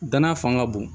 Danaya fanga ka bon